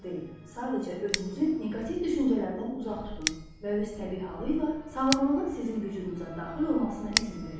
Sadəcə özünüzü neqativ düşüncələrdən uzaq tutun və öz təbii halı ilə sağlamlığın sizin vücudunuza daxil olmasına izin verin.